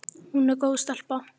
Hún er góð stelpa.